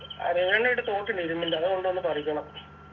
അരയാണ ഇണ്ട് തോട്ടിന്റെ ഇരുമ്പിന്റെ അതുകൊണ്ടു വന്ന് പറിക്കണം